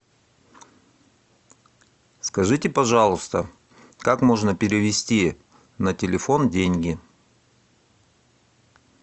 скажите пожалуйста как можно перевести на телефон деньги